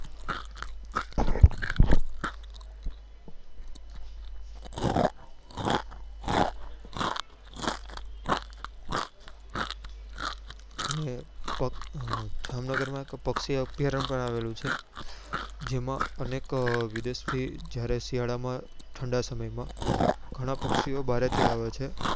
પાક જામનગર માં પક્ષી અભિયારણ પણ આવેલું છે જેમાં અનેક વિદેશ થી જયારે શિયાળા માં ઠંડા સમય માં ગણા પક્ષીઓ બારે થી આવે છે